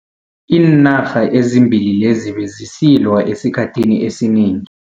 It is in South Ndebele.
Iinarha ezimbili lezi bezisilwa esikhathini esinengi.